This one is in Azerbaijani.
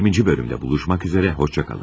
20-ci bölümdə görüşmək üzərə xoşça qalın.